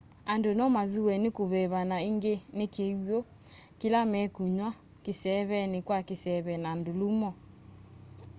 andu nomathuwe ni kuveva na ingi ni kiw'u kila mekunywa kiseeveni kwa kiseve na ndulumo